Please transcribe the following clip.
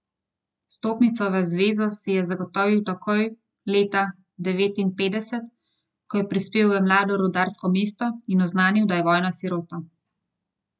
Vstopnico v zvezo si je zagotovil takoj leta devetinpetdeset, ko je prispel v mlado rudarsko mesto in oznanil, da je vojna sirota.